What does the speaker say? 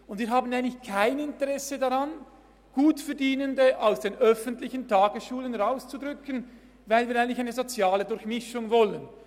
» Wir haben eigentlich kein Interesse daran, Gutverdienende aus den öffentlichen Tagesschulen rauszudrängen, weil wir eigentlich eine soziale Durchmischung wollen.